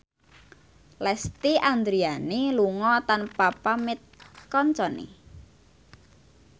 Lesti Andryani lunga tanpa pamit kancane